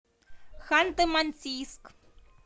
ханты мансийск